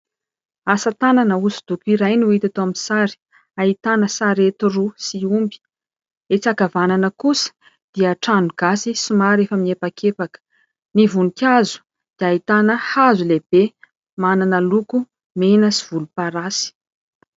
Asa tanana hosodoko iray no hita eto amin'ny sary. Ahitana sarety roa sy omby. Etsy ankavanana kosa dia trano gasy somary efa miepakepaka. Ny voninkazo dia ahitana hazo lehibe manana loko mena sy volomparasy.